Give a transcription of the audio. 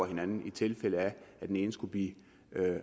hinanden i tilfælde af at den ene skulle blive